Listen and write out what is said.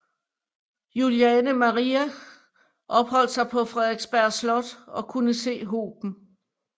Juliane Marie opholdt sig på Frederiksberg Slot og kunne se hoben